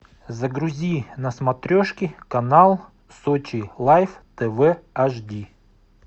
загрузи на смотрешке канал сочи лайф тв аш ди